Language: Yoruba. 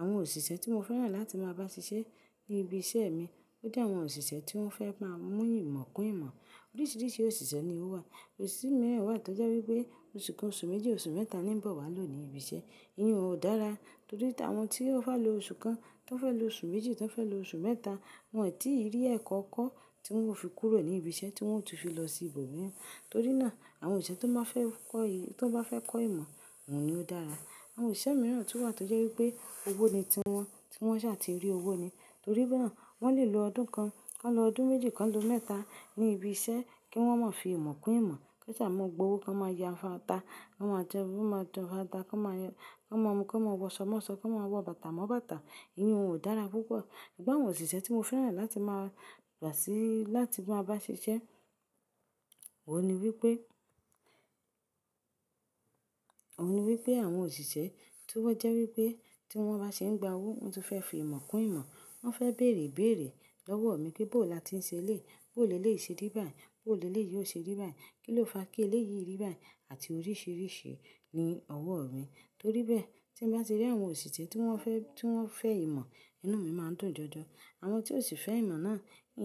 Àwọn òṣìṣẹ́ tí mo fẹ́ràn láti máa bá ṣiṣẹ́ ní ibiṣẹ́ mi ojẹ́ àwọn òṣìṣẹ́ tí wọ́n fẹ́ máa mú ìmọ̀ kún ìmọ̀. Oríṣiríṣi òṣìṣẹ́ ni ó wà. Òṣimìíràn wà tó jẹ́ wípé oṣù kan oṣù méjì oṣù mẹ́ta ni ń bọ̀ wá lò ní ibiṣẹ́, ìyẹn ò dára. Torí àwọn tí o fẹ́ lo oṣù kan, tí wọ́n fẹ́ lo oṣù méjì, tí wọ́n fẹ́ lo oṣù mẹ́ta, wọ́n ò tíì rí ẹ̀kọ́ ko tí wọn ó fi kúrò ní ibiṣẹ́ tí wọn ó tún fi lọ sí ibòmíràn. Torí náà, àwọn òṣi tó bá fẹ́ kọ́, tó bá fẹ́ kọ́ ìmọ̀, wọ́n ni ó dára. Àwọn òṣìṣẹ́ mìíràn tún wà tó jẹ́ wípé owó ni tí wọn, tí wọ́n ṣà ti rí owó ni. Torí náà, wọ́n lè lo ọdún kan, kan lo ọdún méjì kan lo mẹ́ta ní ibi iṣẹ́ kí wọ́n má fi ìmọ̀ kún ìmọ̀. Kí wọ́n sá máa gba owó, kí wọ́n máa ya fata, kí wọ́n má jẹun, kí wọ́n má jẹ fata, kí wọ́n máa yan, kí wọ́n máa mú, kí wọ́n máa wọṣọ mo sọ, kí wọ́n máa wọ bàtà mo bàtà. Ìyẹn ò dára púpọ̀. Ṣùgbọ́ àwọn òṣìṣẹ́ tí mo fẹ́ràn láti máa gbà sí láti máa bá ṣiṣẹ́, òun ni wípé, òun ni wípé àwọn òṣìṣẹ́ tí wọ́n jẹ́ wípé tí wọ́n bá ṣe ń gba owó, wọn tún fẹ́ fi ìmọ̀ kún ìmọ̀. Wọn fẹ́ bèrè ìbéèrè lọ́wọ́ mi pé bó là tí ń ṣe lé, bó leleyi ṣe rí bá yìí, bó leleyi óò ṣe rí bá yìí, kí ló fa kí ele yìí rí bá yìí àti oríṣiríṣi ni ọwọ́ mi. Torí bẹ́ẹ̀, tí m bá ti rí àwọn òṣìṣẹ́ tí wọ́n fẹ́, tí wọ́n fẹ́ ìmọ̀, inú mi má ń dùn jọjọ. Àwọn tí ò sì fẹ́ ìmọ̀ náà,